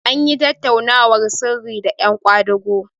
an yi tattaunawar sirri da yan kwadago